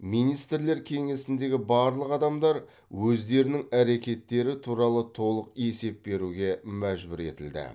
министрлер кеңесіндегі барлық адамдар өздерінің әрекеттері туралы толық есеп беруге мәжбүр етілді